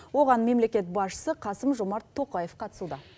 оған мемлекет басшысы қасым жомарт тоқаев қатысуда